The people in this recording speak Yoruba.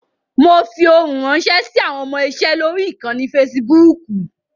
Mo fi ohun ránṣẹ́ sí àwọn ọmọ-iṣe lórí ìkànnì Fasibúùkù.